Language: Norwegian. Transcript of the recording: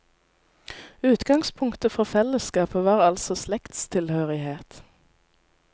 Utgangspunktet for fellesskapet var altså slektstilhørighet.